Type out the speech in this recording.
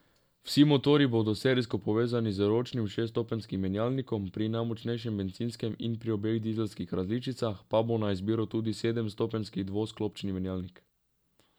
Vsi motorji bodo serijsko povezani z ročnim šeststopenjskim menjalnikom, pri najmočnejšem bencinskem in pri obeh dizelskih različicah pa bo na izbiro tudi sedemstopenjski dvosklopčni menjalnik.